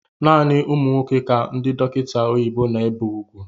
Naanị ụmụ nwoke ka ndị dọkịta oyibo na-ébé úgwú